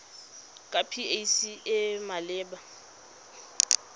ke pac e e maleba